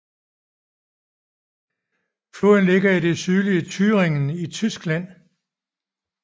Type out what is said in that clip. Floden ligger i det sydlige Thüringen i Tyskland